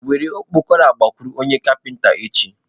Were okpokoro a gakwuru onye kapinta echi.